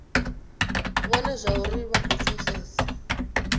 vhone zwauri vha khou pfesesa